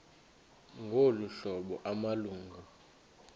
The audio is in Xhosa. ngolu hlobo amalungu